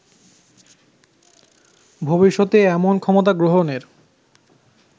ভবিষ্যতে এমন ক্ষমতা গ্রহণের